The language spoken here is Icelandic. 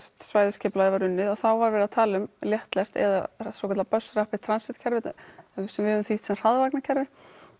svæðisskipulagið var unnið að þá var verið að tala um léttlest eða hraðvagnakerfi